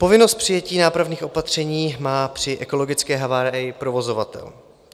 Povinnost přijetí nápravných opatření má při ekologické havárii provozovatel.